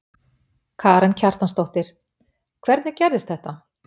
Karen Kjartansdóttir: Hvernig gerðist þetta?